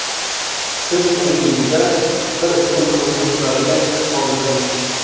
Siz uning yuzida bir umr ko‘rinib turadigan iz qoldirdingiz.